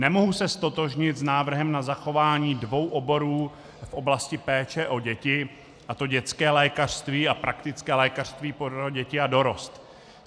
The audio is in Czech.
Nemohu se ztotožnit s návrhem na zachování dvou oborů v oblasti péče o děti, a to dětské lékařství a praktické lékařství pro děti a dorost.